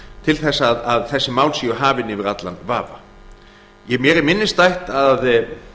til þess að þessi mál séu hafin yfir allan vafa mér er minnisstætt að